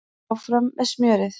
Áfram með smjörið